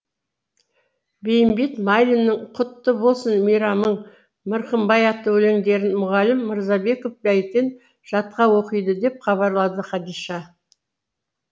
бейімбет майлиннің құтты болсын мейрамың мырқымбай атты өлеңдерін мұғалім мырзабеков бәйтен жатқа оқиды деп хабарлады хадиша